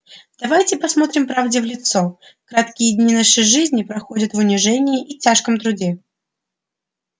давайте посмотрим правде в лицо краткие дни нашей жизни проходят в унижении и тяжком труде